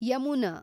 Yamuna